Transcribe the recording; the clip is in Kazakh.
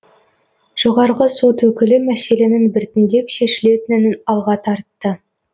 жоғарғы сот өкілі мәселенің біртіндеп шешілетінін алға тартты